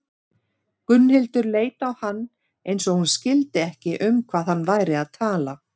Gunnhildur leit á hann eins og hún skildi ekki um hvað hann væri að tala.